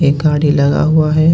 एक गाडी लगा हुआ हे.